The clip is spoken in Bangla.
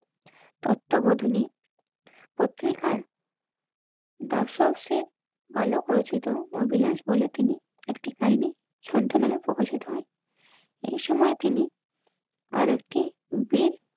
তত্ত্বাবধানে পত্রিকার দর্শক শেঠ বালক রচিত অভিলাষ বলে তিনি একটি কাহিনী শান্ত নামে প্রকাশিত হয় এই সময় তিনি আর একটি বেল